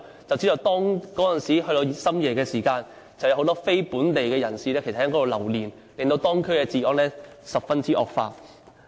這些地區深夜時分有很多非本地人士留連，令到當區的治安嚴重惡化。